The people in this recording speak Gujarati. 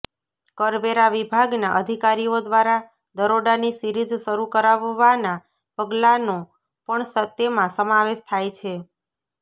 કરવેરા વિભાગના અધિકારીઓ દ્વારા દરોડાની સીરિઝ શરૂ કરાવવાના પગલાનો પણ તેમાં સમાવેશ થાય છે